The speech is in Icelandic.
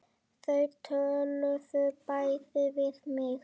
Þau töluðu bæði við mig.